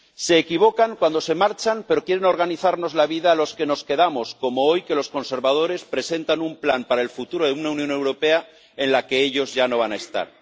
Se equivocan cuando se marchan, pero quieren organizarnos la vida a los que nos quedamos, como hoy, que los conservadores presentan un plan para el futuro de una Unión Europea en la que ellos ya no van a estar.